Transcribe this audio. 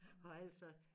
Og altså